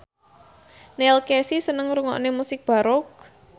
Neil Casey seneng ngrungokne musik baroque